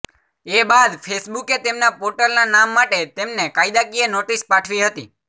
એ બાદ ફેસબુકે તેમના પોર્ટલના નામ માટે તેમને કાયદાકીય નોટિસ પાઠવી હતી